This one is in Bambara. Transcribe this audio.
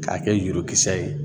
K'a kɛ yurukisɛ ye